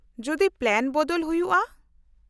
-ᱡᱚᱫᱤ ᱯᱞᱟᱱ ᱵᱚᱫᱚᱞ ᱦᱩᱭᱩᱜᱼᱟ ?